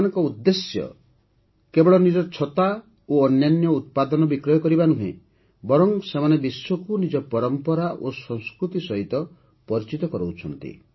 ସେମାନଙ୍କ ଉଦ୍ଦେଶ୍ୟ କେବଳ ନିଜ ଛତା ଏବଂ ଅନ୍ୟାନ୍ୟ ଉତ୍ପାଦନ ବିକ୍ରୟ କରିବା ନୁହେଁ ବରଂ ସେମାନେ ବିଶ୍ୱକୁ ନିଜ ପରମ୍ପରା ଓ ସଂସ୍କୃତି ସହିତ ମଧ୍ୟ ପରିଚିତ କରାଉଛନ୍ତି